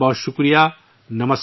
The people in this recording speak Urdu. بہت بہت شکریہ